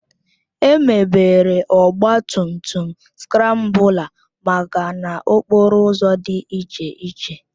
Emebere Ọgba tum tum skrambụla maka n'okporo ụzọ dị iche iche